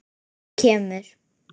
Hann kemur.